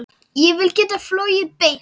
Ég vil geta flogið beint.